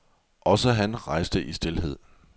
Også han rejste i stilhed.